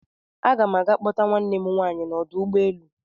Aga n aga kpọta nwanne m nwaanyị n'ọdụ ụgbọelu.